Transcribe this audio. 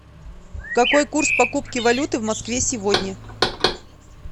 какой курс покупки валюты в москве сегодня